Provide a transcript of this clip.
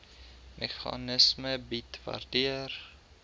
meganisme bied waardeur